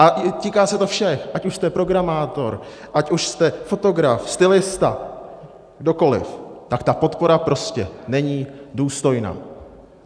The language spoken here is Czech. A týká se to všech, ať už jste programátor, ať už jste fotograf, stylista, kdokoliv, tak ta podpora prostě není důstojná.